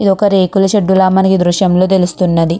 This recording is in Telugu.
ఇది ఒక రేకుల షెడ్ లా మనకి ఈ దృశ్యం లో తెలుస్తున్నది.